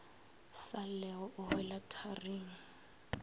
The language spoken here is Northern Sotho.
sa llego o hwela tharing